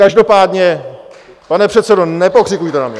Každopádně, pane předsedo, nepokřikujte na mě.